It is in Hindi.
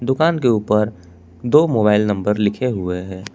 दुकान के ऊपर दो मोबाइल नंबर लिखे हुए है।